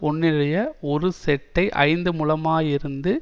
ஒன்றினுடைய ஒரு செட்டை ஐந்து முழமாயிருந்து